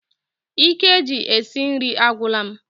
Ike ji esi nri agwula m